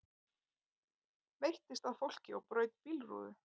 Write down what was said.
Veittist að fólki og braut bílrúðu